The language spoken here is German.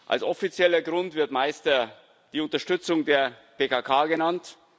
Als offizieller Grund wird meistens die Unterstützung der PKK genannt.